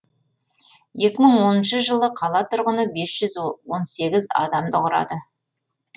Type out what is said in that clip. екі мың оныншы жылы қала тұрғыны бес жүз он сегіз адамды құрады